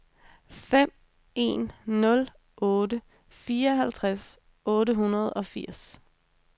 fem en nul otte fireoghalvtreds otte hundrede og firs